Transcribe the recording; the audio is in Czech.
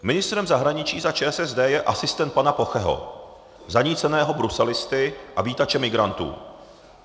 Ministrem zahraničí za ČSSD je asistent pana Pocheho, zaníceného bruselisty a vítače migrantů.